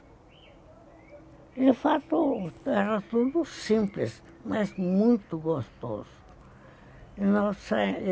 De fato, era tudo simples, mas muito gostoso. Nossa